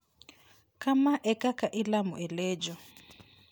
Kama e kaka ilamo e Lejo.